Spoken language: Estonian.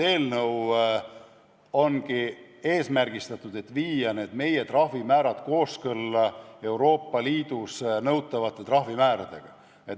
Eelnõu eesmärk ongi viia meie trahvimäärad kooskõlla Euroopa Liidus nõutavate trahvimääradega.